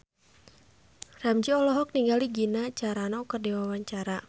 Ramzy olohok ningali Gina Carano keur diwawancara